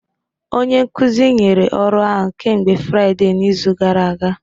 Onye nkuzi nyere ọrụ ahụ kemgbe Fraịde n'izu gara aga